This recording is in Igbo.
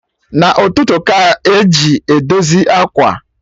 Na ụtụtụ ka eji edozi ákwà